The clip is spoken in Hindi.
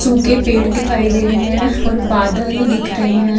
सूखे पेड़ दिखाई दे रहे हैं और बादल दिख रहे हैं।